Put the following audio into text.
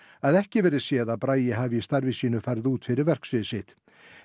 að ekki verði séð að Bragi hafi í starfi sínu farið út fyrir verksvið sitt